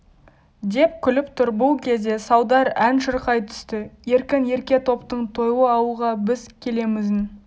деп күліп тұр бұл кезде салдар ән шырқай түсті еркін ерке топтың тойлы ауылға біз келемізін